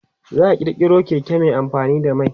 za'a kirkiro Keke Mai amfani da mai